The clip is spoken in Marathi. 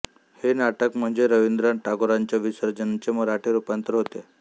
हे नाटक म्हणजे रविंद्रनाथ टागोरांच्या विसर्जनचे मराठी रूपांतर होते